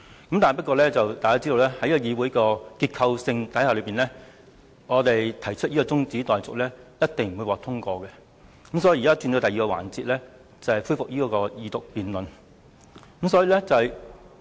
然而，大家也知道在議會現有結構下，我們提出的中止待續議案必定不會獲得通過，所以我們現在才進入另一環節，就是恢復《條例草案》的二讀辯論。